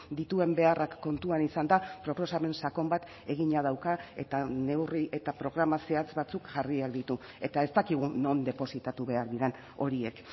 dituen beharrak kontuan izanda proposamen sakon bat egina dauka eta neurri eta programa zehatz batzuk jarriak ditu eta ez dakigu non depositatu behar diren horiek